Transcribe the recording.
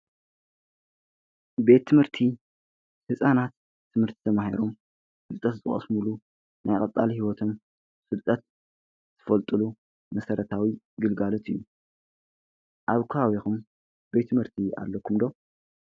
ቤት ትምህርቲ ሕፃናት ትምህርቲ ተማሂሮም ፍልጠት ዝቀስምሉ ናይ ቐፃሊ ሂወቶም ፍልጠት ዝፈልጡሉ መሠረታዊ ግልጋለት እዩ። ኣብ ከባቢኩም ቤት ምህርቲ ኣለኩም ዶ?